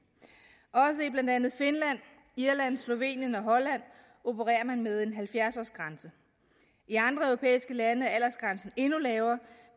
også i blandt andet finland irland slovenien og holland opererer man med en halvfjerds årsgrænse i andre europæiske lande er aldersgrænsen endnu lavere